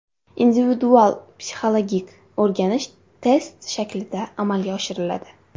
Individual-psixologik o‘rganish test shaklida amalga oshiriladi.